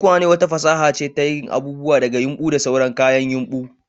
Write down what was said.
Tukwane fasaha ce ta yin abubuwa daga yumbu da sauran kayan yumbu